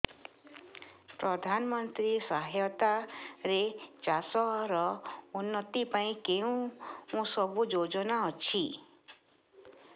ପ୍ରଧାନମନ୍ତ୍ରୀ ସହାୟତା ରେ ଚାଷ ର ଉନ୍ନତି ପାଇଁ କେଉଁ ସବୁ ଯୋଜନା ଅଛି